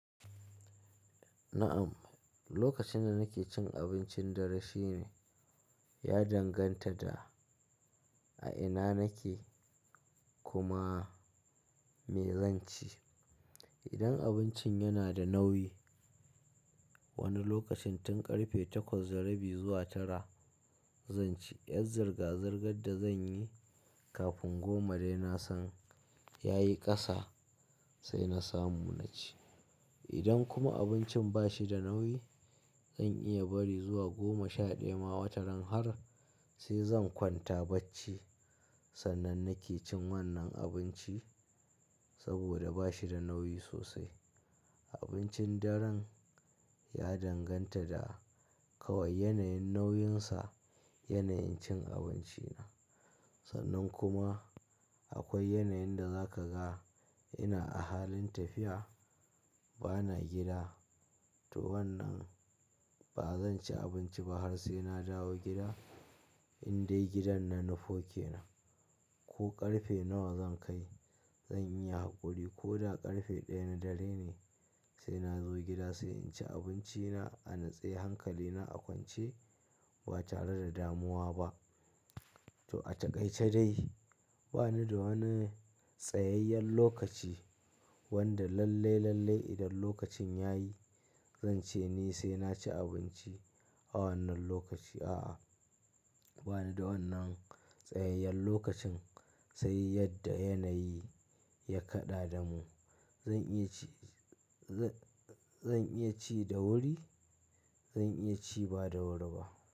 Na'am, lokacin da nake cin abincin dare shi ne ya danganta da a ina nake kuma me zan ci. Idan abincin yana da nauyi, wani lokacin tun ƙarfe takwas da rabi zuwa tara zan ci. Yar ziga zigar da zan yi kafin goma dai na san ya yi ƙasa sai na samu na ci. Idan kuma abincin ba shi da nauyi, zan iya bari zuwa goma sha ɗaya ma wataran har sai zan kwanta bacci. Sannan nake cin wannan abinci saboda ba shi da nauyi sosai. Abincin daren ya danganta da kawai yanayin nauyinsa, yanayin cin abinci na. Sannan kuma akwai yanayin da za ka ga ina a halin tafiya, ba na gida to wannan ba zan ci abinci ba har sai na dawo gida. Indai gidan na, na nifo kenan ko ƙarfe nawa zan kai zan iya hakuri ko da ƙarfe ɗaya na dare ne sai na zo gida sai in ci abinci na, a natse hankali na a kwance ba tare da damuwa ba. To a taƙaice dai ba ni da wani tsayayyen lokaci wanda lalle, lalle idan lokacin yayi zan ce ni sai na ci abinci a wannan lokaci. A'a, ba ni da wannan tsayayyen lokacin sai yadda yanayi ya kaɗa da mu. Zan iya ci, zan, zan iya ci da wuri, zan iya ci ba da wuri ba.